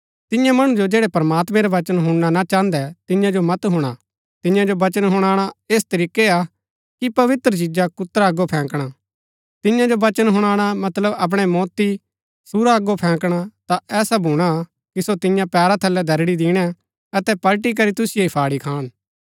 तियां मणु जो जैड़ै प्रमात्मैं रा वचन हुणना ना चाहन्दै तियां जो मत हुणा तियां जो वचन हुणाणा ऐस तरीकै हा कि पवित्र चिजा कुत्रा अगो फैंकणा तियां जो वचन हुणाणा मतलब अपणै मोती सूअरा अगो फैंकणा ता ऐसा भूणा कि सो तियां पैरा थलै दरड़ी दिणै अतै पलटी करी तुसिओ ही फाड़ी खान